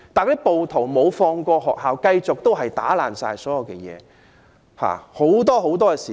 然而，暴徒並沒有放過學校，繼續毀壞校內所有設施。